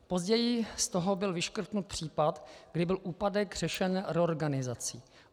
Později z toho byl vyškrtnut případ, kdy byl úpadek řešen reorganizací.